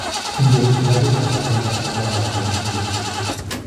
Kingoit kilasitab agenge akomamach komut chi